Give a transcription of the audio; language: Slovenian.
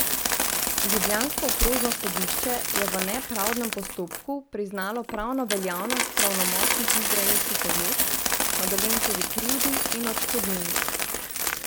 Ljubljansko okrožno sodišče je v nepravdnem postopku priznalo pravno veljavnost pravnomočnih izraelskih odločb o Dolenčevi krivdi in odškodnini.